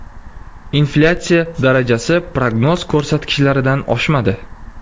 Inflyatsiya darajasi prognoz ko‘rsatkichlaridan oshmadi.